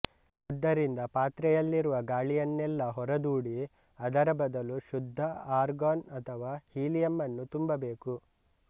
ಆದ್ದರಿಂದ ಪಾತ್ರೆಯಲ್ಲಿರುವ ಗಾಳಿಯನ್ನೆಲ್ಲ ಹೊರದೂಡಿ ಅದರ ಬದಲು ಶುದ್ಧ ಆರ್ಗಾನ್ ಅಥವಾ ಹೀಲಿಯಮ್ಮನ್ನು ತುಂಬಬೇಕು